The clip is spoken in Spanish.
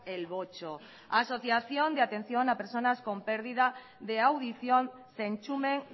el botxo asociación de atención a personas con pérdida de audición zentzumen